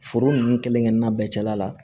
Foro ninnu kelen kelenna bɛɛ cɛla la